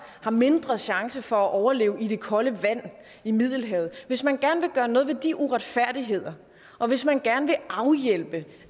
har mindre chance for at overleve i det kolde vand i middelhavet hvis man gerne vil gøre noget ved de uretfærdigheder og hvis man gerne vil afhjælpe